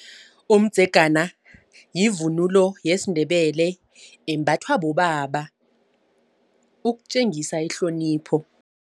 Umdzegana yivunulo yesiNdebele embathwa bobaba ukutjengisa ihlonipho.